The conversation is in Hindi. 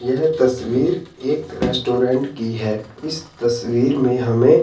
यह तस्वीर एक रेस्टोरेंट की है इस तस्वीर में हमें--